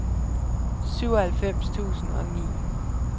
syvoghalvfems tusind og ni